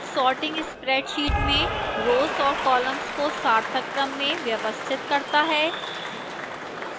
sorting spreadsheet में rows और columns को सार्थक क्रम में व्यवस्थित करता है